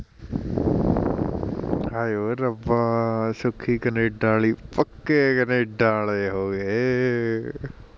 ਹਾਏ ਓ ਰੱਬਾ ਸੁਖੀ ਕਨੇਡਾ ਆਲੀ ਪੱਕੇ ਕਨੇਡਾ ਆਲੇ ਹੋਗੇ